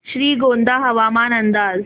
श्रीगोंदा हवामान अंदाज